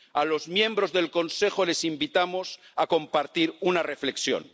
A los miembros del Consejo les invitamos a compartir una reflexión.